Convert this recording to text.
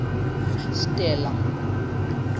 stella